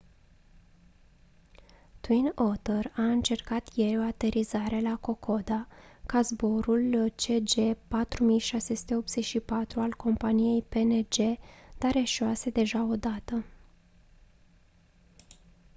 twin otter a încercat ieri o aterizare la kokoda ca zborul cg4684 al companiei png dar eșuase deja o dată